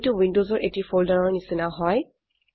এইটো উইন্ডোসৰ এটি ফোল্ডাৰৰ নিচিনা হয়